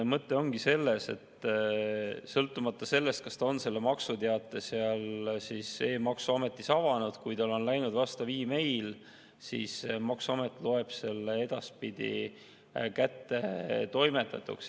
Mõte ongi selles, et sõltumata sellest, kas ta on maksuteate seal e-maksuametis avanud, kui talle on läinud vastav e-mail, siis maksuamet loeb selle edaspidi kättetoimetatuks.